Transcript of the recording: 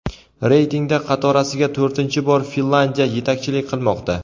Reytingda qatorasiga to‘rtinchi bor Finlyandiya yetakchilik qilmoqda.